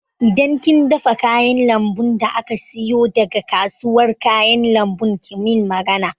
Idan kin dafa kayan lambun da aka siyo daga kasuwar kayan lambu ki min magana